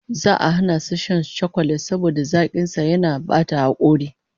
Za'a hana su yawan shan chakulet saboda zakin sa yana bata hakora